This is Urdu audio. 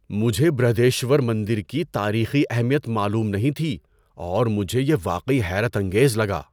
مجھے برہدیشور مندر کی تاریخی اہمیت معلوم نہیں تھی اور مجھے یہ واقعی حیرت انگیز لگا۔